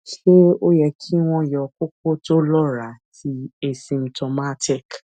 se o ye ki won yo koko to lora ti asymptomatic